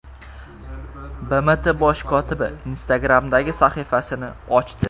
BMT bosh kotibi Instagram’da sahifasini ochdi.